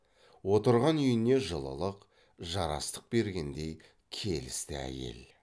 отырған үйіне жылылық жарастық бергендей келісті әйел